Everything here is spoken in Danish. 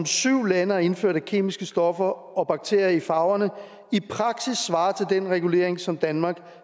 syv lande har indført af kemiske stoffer og bakterier i farverne i praksis svarer til den regulering som danmark